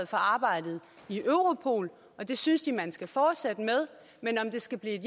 for arbejdet i europol og det synes de man skal fortsætte med men om det skal blive et